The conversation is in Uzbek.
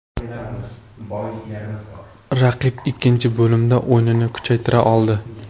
Raqib ikkinchi bo‘limda o‘yinini kuchaytira oldi.